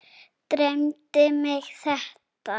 Dreymdi mig þetta?